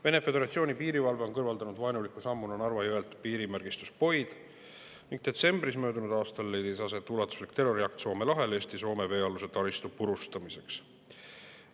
Vene föderatsiooni piirivalve on kõrvaldanud vaenuliku sammuna Narva jõelt piirimärgistuspoid ning detsembris möödunud aastal leidis aset ulatuslik terroriakt Soome lahel Eesti ja Soome veealuse taristu purustamiseks.